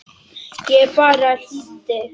Ég bara hlýddi!